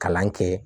Kalan kɛ